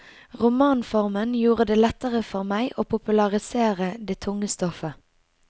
Romanformen gjorde det lettere for meg å popularisere det tunge stoffet.